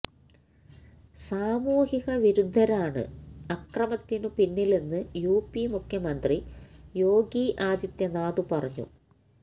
സാമൂഹികവിരുദ്ധരാണ് അക്രമത്തിനു പിന്നിലെന്നു യുപി മുഖ്യമന്ത്രി യോഗി ആദിത്യനാഥ് പറഞ്ഞു